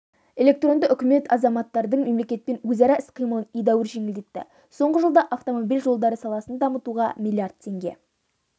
электронды үкімет азаматтардың мемлекетпен өзара іс-қимылын едәуір жеңілдетті соңғы жылда автомобиль жолдары саласын дамытуға млрд теңге